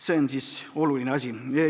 See on oluline asi.